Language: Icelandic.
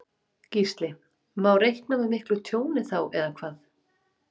Gísli: Má reikna með miklu tjóni þá eða hvað?